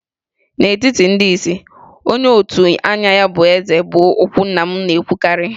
N'etiti ndị isi, onye otu anya bụ Eze' bụ okwu nna m na-ekwukarị.